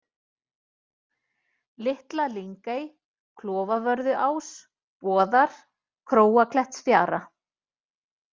Litla-Lyngey, Klofavörðuás, Boðar, Króaklettsfjara